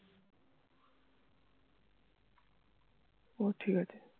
ও ঠিক আছে